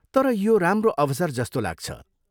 तर यो राम्रो अवसर जस्तो लाग्छ।